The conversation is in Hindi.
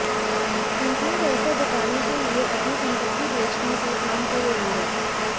कंपनी पैसा जुटाने के लिए अपनी संपत्ति बेचने पर काम कर रही है